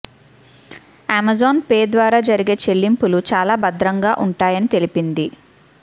Amazon Pay ద్వారా జరిగే చెల్లింపులు చాలా భద్రంగా ఉంటాయని తెలిపింది